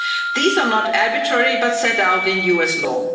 These are not arbitrary but set out in US law.